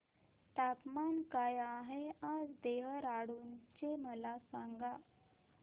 तापमान काय आहे आज देहराडून चे मला सांगा